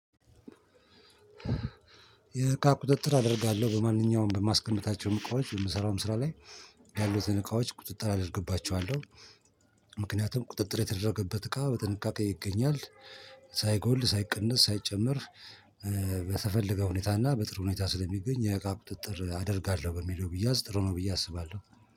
የእቃ ቁጥጥር አደርጋለሁ በማንኛውም በማስቀጣቸውም እቃዎች በምሰራውም ስራ ላይ ያሉትን እቃዎች ቁጥጥር አደርግባቸዋለሁ። ምክንያቱም ቁጥጥር የተደረገበት እቃ በጥንቃቄ ይገኛል ሳይጎል ሳይቀነስ ሳይጨመር። በተፈለገ ሁኔታና በጥሩ ሁኔታ ስለሚገኝ የእቃ ቁጥጥር አደርጋለሁኝ በሚለው ቢያዝ ጥሩ ነው ብዬ አስባለሁ።